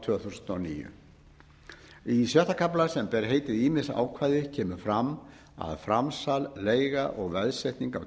tvö þúsund og níu í sjötta kafla sem ber heitið ýmis ákvæði kemur fram að framsal leiga og veðsetning á